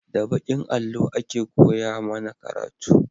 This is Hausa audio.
Da bakin allo a ke koya mana karatu